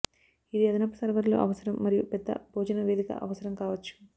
ఇది అదనపు సర్వర్లు అవసరం మరియు పెద్ద భోజన వేదిక అవసరం కావచ్చు